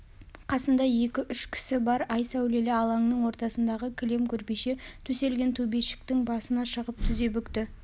қасында екі-үш кісі бар ай сәулелі алаңның ортасындағы кілем көрпеше төселген төбешіктің басына шығып тізе бүкті